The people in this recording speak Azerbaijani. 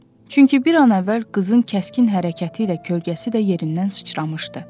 Çünki bir an əvvəl qızın kəskin hərəkəti ilə kölgəsi də yerindən sıçramışdı.